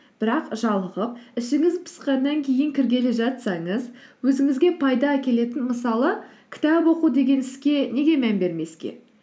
бірақ жалығып ішіңіз пысқаннан кейін кіргелі жатсаңыз өзіңізге пайда әкелетін мысалы кітап оқу деген іске неге мән бермеске